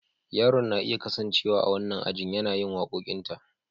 Yaron na iya kasancewa a wannan ajin yana yin waƙoƙinta.